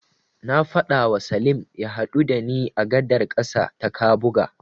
Na faɗawa Salim ya haɗu da ni a gadar ƙasa ta Kabuga.